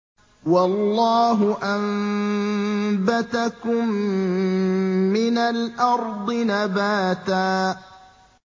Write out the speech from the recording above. وَاللَّهُ أَنبَتَكُم مِّنَ الْأَرْضِ نَبَاتًا